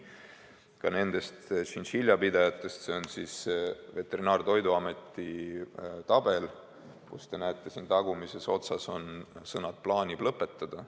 Ka nende tšintšiljapidajate kohta on Veterinaar- ja Toiduameti tabelis, näete, siin tagumises otsas, sõnad "plaanib lõpetada".